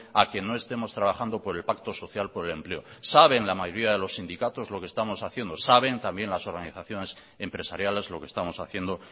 a que no estemos trabajando por el pacto social por el empleo saben la mayoría de los sindicatos lo que estamos haciendo saben también las organizaciones empresariales lo que estamos haciendo